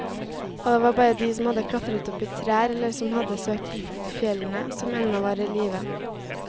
Og det var bare de som hadde klatret opp i trær eller som hadde søkt tilflukt i fjellene, som ennå var i live.